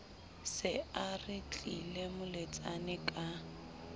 se a retlile moletsane ka